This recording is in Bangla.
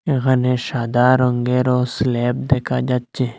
এখানে সাদা রঙ্গেরও স্ল্যাব দেখা যাচ্ছে।